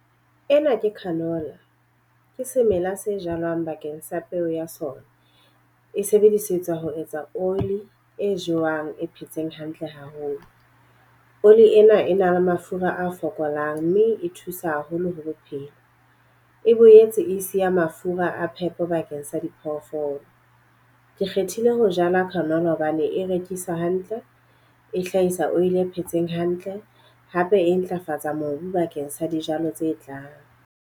Ena ke canola, ke semela se jalwang bakeng sa peo ya sona. E sebedisetswa ho etsa oli e jewang e phetseng hantle haholo. Oli ena e na le mafura a fokolang mme e thusa haholo ho bophelo. E boetse e siya mafura a phepo bakeng sa diphoofolo. Ke kgethile ho jala canola hobane e rekiswa hantle, e hlahisa oli e phetseng hantle. Hape e ntlafatsa mobu bakeng sa dijalo tse tlang.